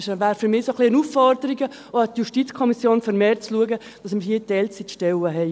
Es wäre eine Aufforderung, auch an die JuKo, vermehrt zu schauen, dass wir hier Teilzeitstellen haben.